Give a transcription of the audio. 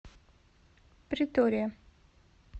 претория